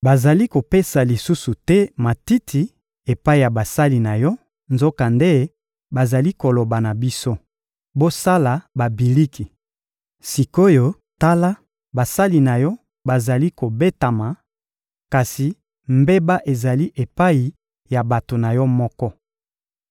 Bazali kopesa lisusu te matiti epai ya basali na yo, nzokande bazali koloba na biso: «Bosala babiliki!» Sik’oyo tala, basali na yo bazali kobetama, kasi mbeba ezali epai ya bato na yo moko.